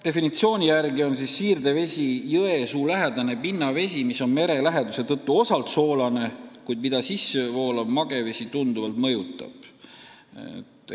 Definitsiooni järgi on siirdevesi jõesuulähedane pinnavesi, mis on mere läheduse tõttu osalt soolane, kuid mida sissevoolav magevesi tunduvalt mõjutab.